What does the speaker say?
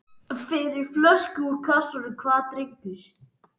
Fyrir flösku úr kassanum, hvað drengur?